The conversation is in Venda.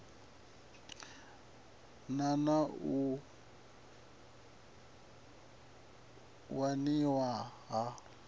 na na u waniwa ha